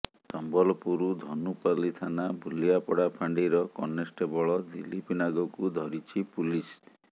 ସମ୍ବଲପୁର ଧନୁପାଲି ଥାନା ଭୁଲିଆପଡା ଫାଣ୍ଡିର କନଷ୍ଟେବଳ ଦିଲ୍ଲୀପ ନାଗକୁ ଧରିଛି ପୁଲିସ